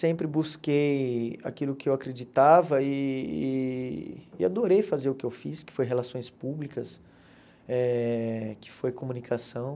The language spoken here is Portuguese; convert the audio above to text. Sempre busquei aquilo que eu acreditava e e e adorei fazer o que eu fiz, que foi relações públicas, eh que foi comunicação.